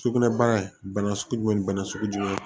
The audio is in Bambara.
Sugunɛbara bana sugu jumɛn ni bana sugu jumɛn